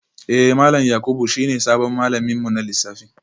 Eh malam Yakubu shine sabon malamin mu na lissafi